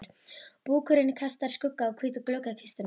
Búkurinn kastar skugga á hvíta gluggakistuna.